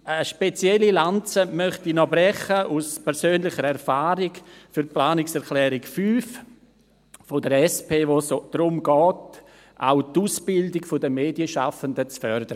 Aus persönlicher Erfahrung möchte ich noch eine spezielle Lanze brechen für die Planungserklärung 5 der SP, in welcher es darum geht, auch die Ausbildung der Medienschaffenden zu fördern.